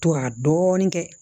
To ka dɔɔni kɛ